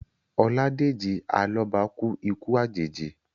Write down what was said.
Ọládèjì Alọ́ba kú ikú àjèjì